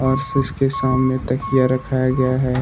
और के सामने तकिया रखाया गया है।